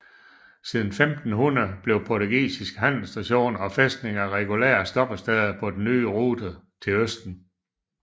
Siden 1500 blev portugisiske handelsstationer og fæstninger regulære stoppesteder på den nye rute til østen